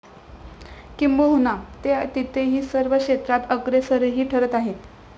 किंबहुना ते तेथील सर्व क्षेत्रात अग्रेसरही ठरत आहेत.